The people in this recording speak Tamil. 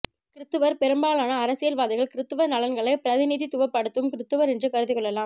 கிரிஸ்துவர் பெரும்பாலான அரசியல்வாதிகள் கிரிஸ்துவர் நலன்களை பிரதிநிதித்துவப்படுத்தும் கிரிஸ்துவர் என்று கருதி கொள்ளலாம்